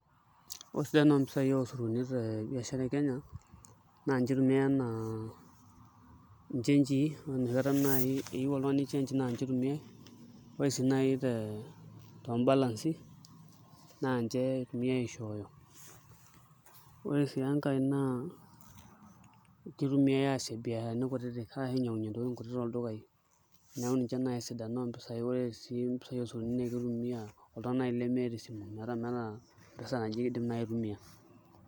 Sidan mpisai oosururuni te biashara e Kenya naa ninche itumiai enaa nchengii, ore change naa ninche itumiai, ore sii naai toombalansi naa ninche etumi aishooyo, ore sii enkae naa kitumiai aasie mbiasharani kutitik ainying'unyie ntokitin kutitik toldukai neeku ninche naai sidan oo mpisai, ore sii mpisaai esotuni naa kitumia oltung'ani naai leemta esimu metaa meeta m-pesa naji naai kifaa pee itumiaa.